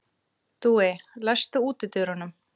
Dúi, læstu útidyrunum.